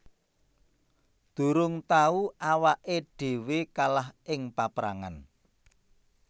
Durung tau awaké dhéwé kalah ing paprangan